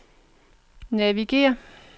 navigér